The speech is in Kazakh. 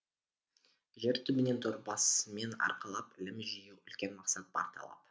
жер түбінен дорбасымен арқалап ілім жию үлкен мақсат бар талап